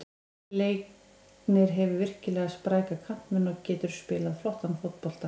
Leiknir hefur virkilega spræka kantmenn og getur spilað flottan fótbolta.